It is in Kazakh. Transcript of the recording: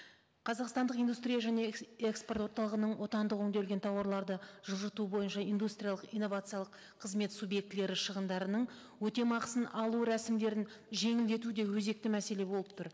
қазақстандық индустрия және экспорт орталығының отандық өңделген тауарларды жылжыту бойынша индустриялық инновациялық қызмет субъектілері шығындарының өтемақысын алу рәсімдерін жеңілдету де өзекті мәселе болып тұр